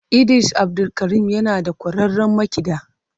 Idris abdulkarim yana da kwararrun makiɗa.